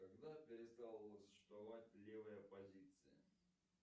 когда перестала существовать левая оппозиция